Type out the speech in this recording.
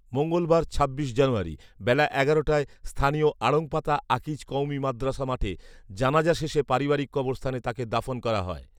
মঙ্গলবার ছাব্বিশ জানুয়ারি বেলা এগারোটায় স্থানীয় আড়ংপাড়া আকিজ কওমী মাদ্রাসা মাঠে জানাযা শেষে পারিবারিক কবরস্থানে তাকে দাফন করা হয়